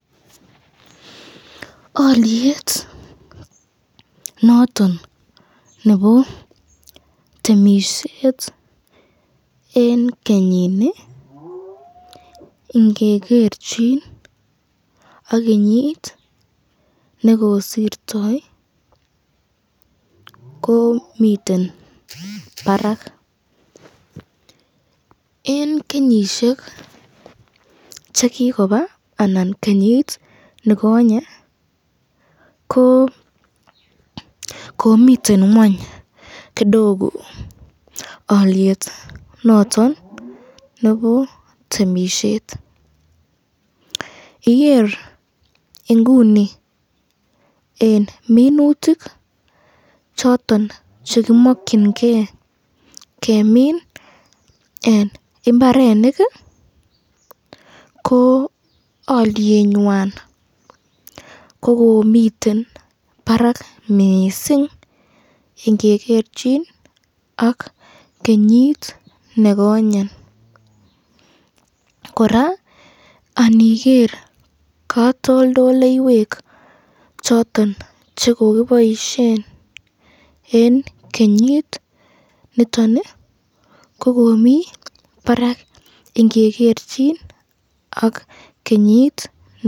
Olyet noton nebo temisyet eng kenyini ingegerchin ak kenyit nekosirtoi, ko miten barak, eng kenyishek chekikoba anan kenyit nekonye ko komiten ngweny kidogo alyet noton nebo temisyet ,iniger ni eng minutik choton chekimakyinike kemin eng imbarenik ko olyet nyan kokomiten barak mising, ingegerchin ak kenyit nekonye, koraa aniger katoldoloiywek choton chekiboisyen eng kenyit niton kokomi barat ingegerchin ak kenyit nekonye.